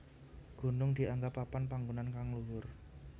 Gunung dianggep papan panggonan kang luhur